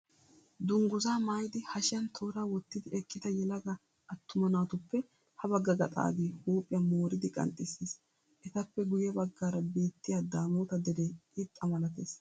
Dungguzzaa maayidi hashiyan tooraa wottidi eqqida yelaga attuma naatuppe habagga gaxaagee huuphiyaa mooridi qanxxissiis. Etappe guyye baggaara beettiyaa daamoota deree irxxa malatees.